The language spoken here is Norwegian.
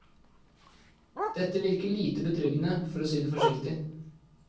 Dette virker lite betryggende, for å si det forsiktig.